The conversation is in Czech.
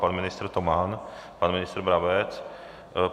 Pan ministr Toman, pan ministr Brabec?